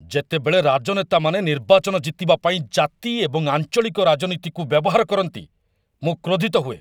ଯେତେବେଳେ ରାଜନେତାମାନେ ନିର୍ବାଚନ ଜିତିବା ପାଇଁ ଜାତି ଏବଂ ଆଞ୍ଚଳିକ ରାଜନୀତିକୁ ବ୍ୟବହାର କରନ୍ତି, ମୁଁ କ୍ରୋଧିତ ହୁଏ।